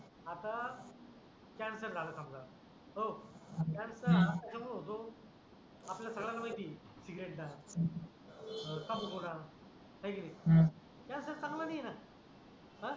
आता कॅन्सर झाल समजा हो अं कॅन्सर हा होऊ देऊ आपल्या सर्वाना माहीत आहे सिगारेट चान तंबाखू पोटात आहे की नाही हम्म कॅन्सर चांगला नाही राहत हा